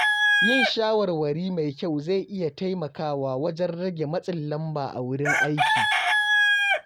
Yin shawarwari mai kyau zai iya taimakawa wajen rage matsin lamba a wurin aiki.